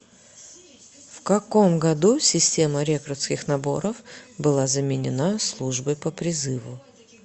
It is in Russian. в каком году система рекрутских наборов была заменена службой по призыву